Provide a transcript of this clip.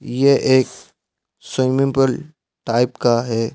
ये एक swimming pool type का है।